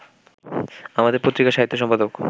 আমাদের পত্রিকার সাহিত্য সম্পাদক